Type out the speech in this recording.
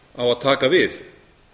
á að taka við